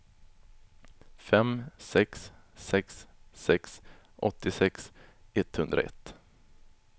fem sex sex sex åttiosex etthundraett